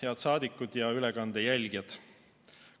Head saadikud ja ülekande jälgijad!